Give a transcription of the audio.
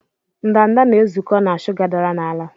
ndanda na-ezukọ na shuga dara n'ala.